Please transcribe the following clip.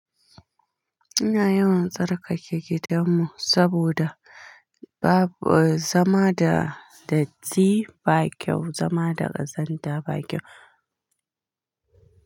Ina yawan tsarkake gidanmu saboda babu-- zama da datti ba kyau, zama da ƙazanta ba kyau.